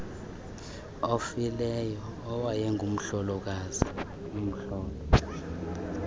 ofileyo owayengumhlolokazi umhlolo